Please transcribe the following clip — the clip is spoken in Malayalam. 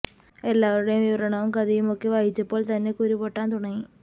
എല്ലാവരുടെയും വിവരണവും കഥയും ഒകെ വായിച്ചപ്പോൾ തന്നെ കുരു പൊട്ടൻ തുടങ്ങി